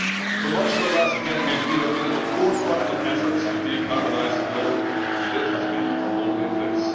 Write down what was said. For much of the last decade we have been at the forefront of efforts to decarbonise the globe, and it has been a lonely place.